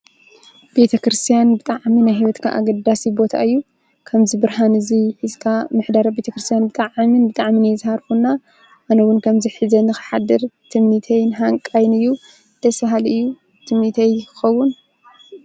ቤተ ክርስቲያን ብጣዕሚ ናይ ሂወትካ አገዳሲ ቦታ እዩ። ከምዚ ብርሃን እዚ ሒዝካ ምሕዳር አብ ቤተክርስቲያን ከዓ ብጣዕሚ እየ ዝሃርፎ እና እነ እውን ከምዚ ሒዘ ንክሓድር ትምኒተይን ሃንቃይን እዩ። ደስ በሃሊ ትምኒተይ ክኸውን.